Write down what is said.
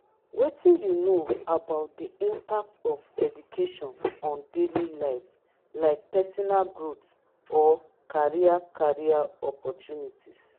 wetin you know about di impact of education on daily life like personal growth or career career opportunities?